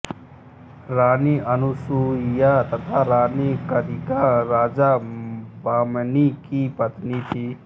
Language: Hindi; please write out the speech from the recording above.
रानी अनुसूईया तथा रानी कदिका राजा बमनी की पत्निया थी